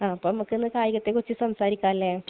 അപ്പൊ നമക്കിന്ന് കായികത്തെക്കുറിച്ച് സംസാരിക്കാലെ?